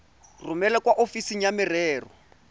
romele kwa ofising ya merero